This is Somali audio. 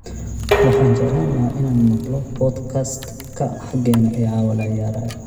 Waxaan jeclaan lahaa inaan maqlo podcast-ka xaqeena ee caawa la ciyaarayo